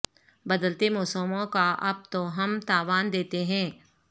بدلتے موسموں کا اب تو ہم تاوان دیتے ہیں